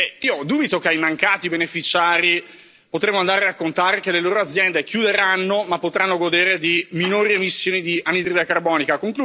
Io dubito che ai mancati beneficiari potremmo andare a raccontare che le loro aziende chiuderanno ma potranno godere di minori emissioni di anidride carbonica.